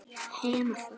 Jafnvel heilan bragga.